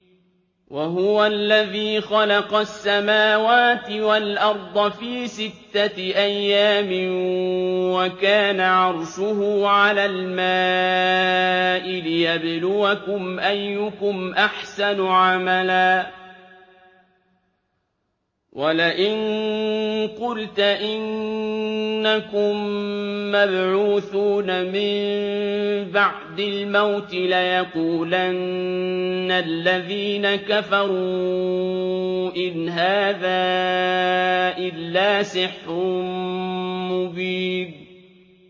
وَهُوَ الَّذِي خَلَقَ السَّمَاوَاتِ وَالْأَرْضَ فِي سِتَّةِ أَيَّامٍ وَكَانَ عَرْشُهُ عَلَى الْمَاءِ لِيَبْلُوَكُمْ أَيُّكُمْ أَحْسَنُ عَمَلًا ۗ وَلَئِن قُلْتَ إِنَّكُم مَّبْعُوثُونَ مِن بَعْدِ الْمَوْتِ لَيَقُولَنَّ الَّذِينَ كَفَرُوا إِنْ هَٰذَا إِلَّا سِحْرٌ مُّبِينٌ